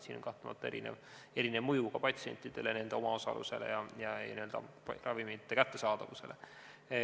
Siin on kahtlemata erinev mõju ka patsientidele, nende omaosalusele ja ravimite kättesaadavusele.